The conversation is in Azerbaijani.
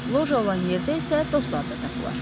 Loja olan yerdə isə dostlar da tapılar.